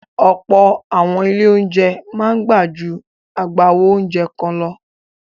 Ọ̀pọ̀ àwọn ilé-oúnjẹ máa gbà ju agbáwo oúnjẹ kan lọ.